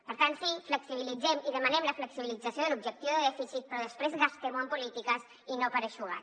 per tant sí flexibilitzem i demanem la flexibilització de l’objectiu de dèficit però després gastem ho en polítiques i no per eixugar